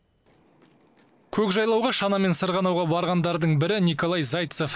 көкжайлауға шанамен сырғанауға барғандардың бірі николай зайцев